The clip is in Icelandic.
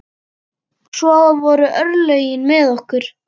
Svo voru örlögin með okkur.